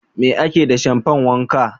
Me ake da shamfan wanka?